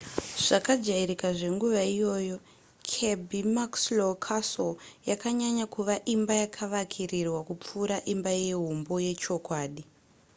zvakajairika zvenguva iyoyo kirby muxloe castle yakanyanya kuva imba yakavakirirwa kupfuura imbayehumbo yechokwadi